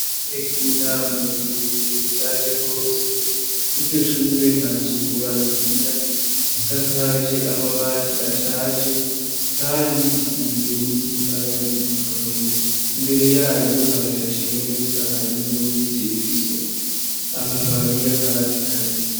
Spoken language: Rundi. Ishure ry'intango rirerire rishaje rwose, iryo shure nta suku barigirira; risakaje amabati ashaje kandi risize n'isima yari ikomeye. Imbere yaryo harashashe neza hariho n'ibiti bifise amababi y'akatsi kabisi.